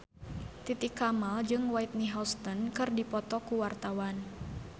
Titi Kamal jeung Whitney Houston keur dipoto ku wartawan